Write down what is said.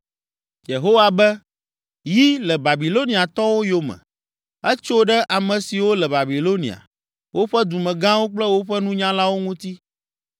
Yehowa be, “Yi le Babiloniatɔwo yome! Etso ɖe ame siwo le Babilonia, woƒe dumegãwo kple woƒe nunyalawo ŋuti!